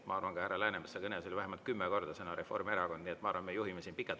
Ma arvan, et ka härra Läänemetsa kõnes oli vähemalt kümme korda sõna "Reformierakond", nii et ma arvan, me juhime siin pikalt.